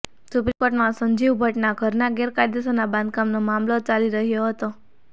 supreme કોર્ટમાં સંજીવ ભટ્ટના ઘરના ગેરકાયદેસરના બાંધકામનો મામલો ચાલી રહ્યો હતો